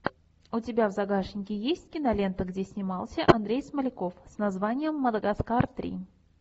у тебя в загашнике есть кинолента где снимался андрей смоляков с названием мадагаскар три